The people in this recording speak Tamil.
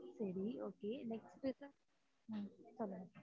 சரி okay next sir